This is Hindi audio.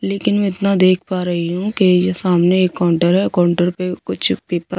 लेकिन मैं इतना देख पा रही हूं कि ये सामने एक काउंटर है काउंटर पे कुछ पेपा --